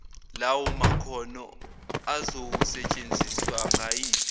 lawomakhono azokusetshenziswa ngayiphi